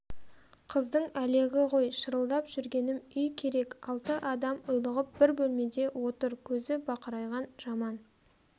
қыздың әлегі ғой шырылдап жүргенім үй керек алты адам ұйлығып бір бөлмеде отыр көзі бақырайған жаман